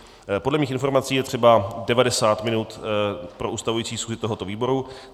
Podle mých informací je třeba 90 minut pro ustavující schůzi tohoto výboru.